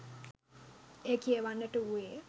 එය කියවන්නට වූවේය